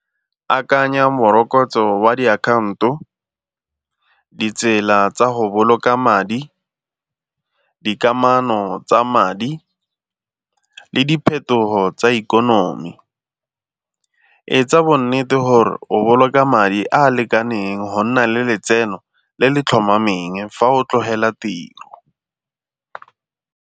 Akanya morokotso wa diakhaonto, ditsela tsa go boloka madi, dikamano tsa madi le diphetogo tsa ikonomi. Etsa bo nnete gore o boloka madi a a lekaneng go nna le letseno le le tlhomameng fa o tlogela tiro.